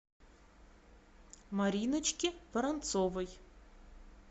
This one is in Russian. мариночке воронцовой